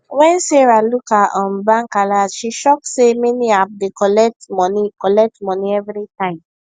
when sarah look her um bank alert she shock say many app dey collect money collect money every time